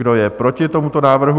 Kdo je proti tomuto návrhu?